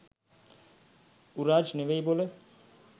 උරාජ් නෙවෙයි බොල